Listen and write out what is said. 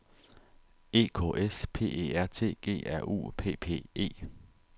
E K S P E R T G R U P P E